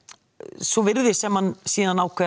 svo virðist sem hann síðan ákveðið að